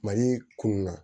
Mali kunun na